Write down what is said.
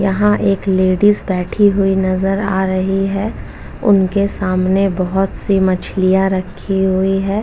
यहाँ एक लेडिज बैठी हुई नजर आ रही है। उनके सामने बहोत सी मछलियाँ रखी हुई हैं।